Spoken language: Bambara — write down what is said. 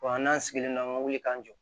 n'an sigilen don an ka wuli k'an jɔ